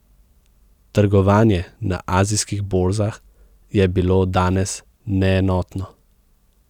Trgovanje na azijskih borzah je bilo danes neenotno.